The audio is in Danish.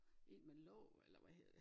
En med låg eller hvad hedder det